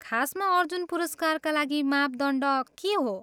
खासमा अर्जुन पुरस्कारका लागि मापदण्ड के हो?